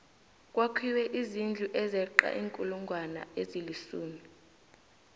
kwakhiwe izindlu ezeqa iinkulungwana ezilisumi